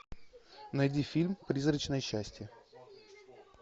найди фильм призрачное счастье